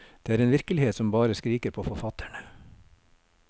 Det er en virkelighet som bare skriker på forfatterne.